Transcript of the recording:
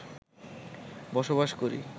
বসবাস করি